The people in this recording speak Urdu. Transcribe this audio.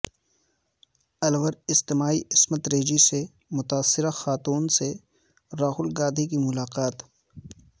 الور اجتماعی عصمت ریزی سے متاثرہ خاتون سے راہول گاندھی کی ملاقات